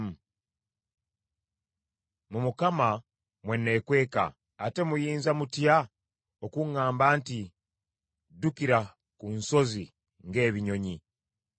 Mu Mukama mwe neekweka; ate muyinza mutya okuŋŋamba nti, “Ddukira ku nsozi ng’ebinyonyi?